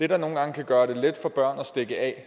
der nogle gange kan gøre det let for børn at stikke af